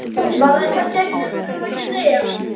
Var það annars eitthvað sérstakt sem þú vildir segja?